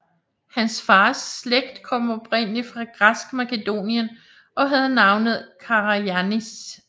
Hans fars slægt kom oprindeligt fra græsk Makedonien og havde navnet Karajànnis